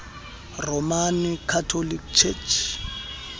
roman catholic church